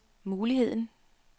muligheden